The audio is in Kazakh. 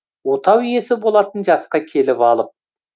отау иесі болатын жасқа келіп алып